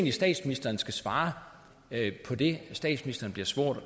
at statsministeren skal svare på det statsministeren bliver spurgt